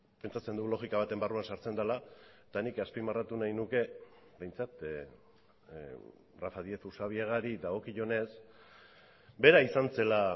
pentsatzen dugu logika baten barruan sartzen dela eta nik azpimarratu nahi nuke behintzat rafa díez usabiagari dagokionez bera izan zela